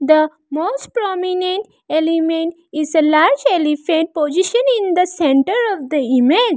the most prominent element is a large elephant positioned in the centre of the image.